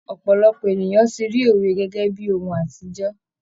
Ọpọlọpọ ènìyàn ti ri òwe gẹ́gẹ́ bíi ohun àtijọ́.